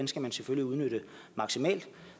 skal man selvfølgelig udnytte maksimalt